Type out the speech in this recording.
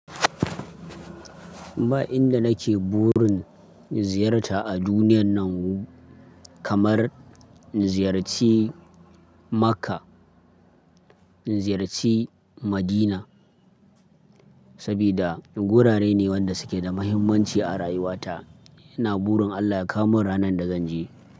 Ba inda nake burin ziyarta a duniyan nan kamar in ziyarci Makka, in ziyarci Madina, sabida gurare ne wanda suke da muhimmanci a rayuwata. Ina burin Allah ya kawo mun ranan da zanje.